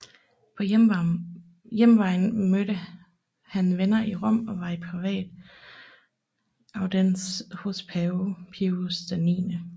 På hjemvejen mødte han venner i Rom og var i privat audiens hos pave Pius 9